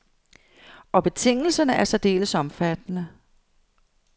Og betingelserne er særdeles omfattende.